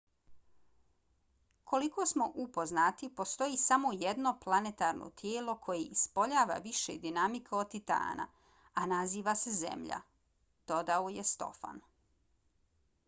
koliko smo upoznati postoji samo jedno planetarno tijelo koje ispoljava više dinamike od titana a naziva se zemlja dodao je stofan